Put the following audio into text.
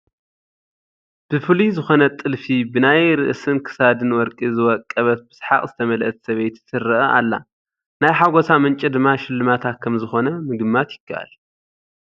ብፍሉይ ዝኾነ ጥልፊ፡ ብናይ ርእስን ክሳድን ወርቂ ዝወቀበት ብስሓቕ ዝተመልአት ሰበይቲ ትርአ ኣላ፡፡ ናይ ሓጐሳ ምንጪ ድማ ሽልማታ ከምዝኾነ ምግማት ይከኣል፡፡